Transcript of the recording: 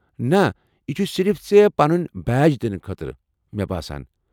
نہ ، یہِ چھ صرف ژےٚ پنن بیج دنہٕ خٲطرٕ ، مےٚ باسان۔